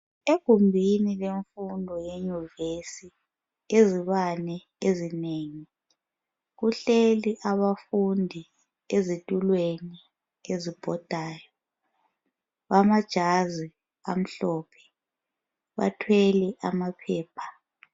Egumbini lemfundo yenyuvesi izibane ezinengi kuhleli abafundi ezitulweni ezibhodayo. Amajazi amhlophe, bathwele amaphepha.